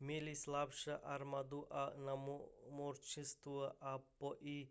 měli slabší armádu i námořnictvo a to i